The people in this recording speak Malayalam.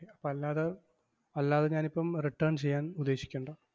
അപ്പം അല്ലാതെ അല്ലാതെ ഞാനിപ്പം return ചെയ്യാൻ ഉദ്ദേശിക്കണ്ട.